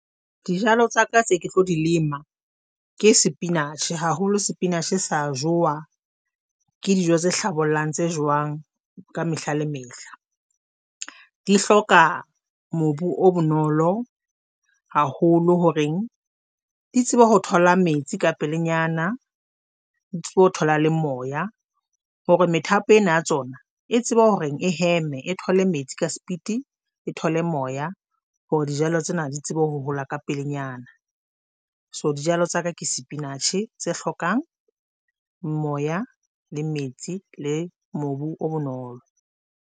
Dijalo tsa ka tse ke tlo di lema ke spinatjhe haholo, spinatjhe sa Jowa ke dijo tse hlabollang tse jwang. Ka mehla le mehla di hloka mobu o bonolo haholo horeng di tsebe ho thola metsi ka pelenyana di tsebe ho thola le moya hore methapo ena ya tsona e tsebe hore e heme e thole metsi ka speed, e thole moya hore dijalo tsena di tsebe ho hola ka pelenyana. So, dijalo tsa ka ke spinatjhe tse hlokang moya le metsi le mobu o bonolo.